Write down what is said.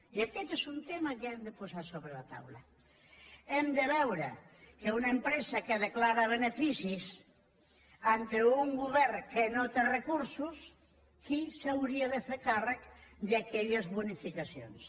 i aquest és un tema que hem de posar sobre la taula hem de veure amb una empresa que declara beneficis davant d’un govern que no té recursos qui s’hauria de fer càrrec d’aquelles bonificacions